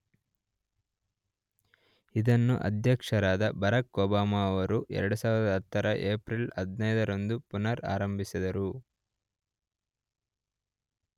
ಇದನ್ನು ಅಧ್ಯಕ್ಷರಾದ Barack Obama ರವರು 2010 ರ ಏಪ್ರಿಲ್ 15 ರಂದು ಪುನರ್ ಆರಂಭಿಸಿದರು.